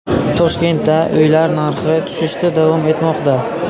Toshkentda uylar narxi tushishda davom etmoqda.